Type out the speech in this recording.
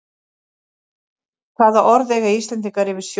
Hvaða orð eiga Íslendingar yfir snjó?